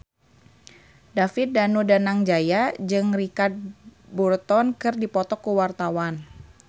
David Danu Danangjaya jeung Richard Burton keur dipoto ku wartawan